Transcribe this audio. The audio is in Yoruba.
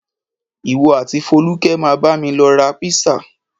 Ìwọ àti Fólúkẹ́ máa bámi lọ ra písà.